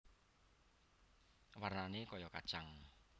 Warnané kaya kacang